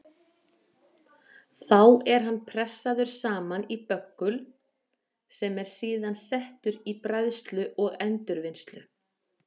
Þá er hann pressaður saman í böggul sem er síðan settur í bræðslu og endurvinnslu.